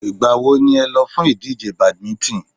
Ìgbà wo ni ẹ lọ fún ìdíje badminton?